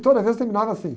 E toda vez terminava assim.